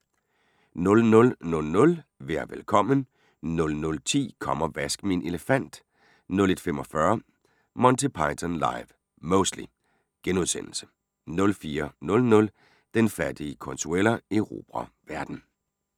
00:00: Vær velkommen 00:10: Kom og vask min elefant 01:45: Monty Python Live (Mostly) * 04:00: Den fattige Consuela erobrer verden